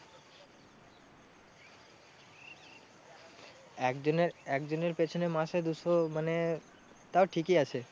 এক জনের, এক জনের পেছনে মাসে দুশো মানে তাও ঠিকই আছে।